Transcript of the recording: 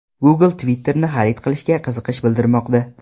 Google Twitter’ni xarid qilishga qiziqish bildirmoqda.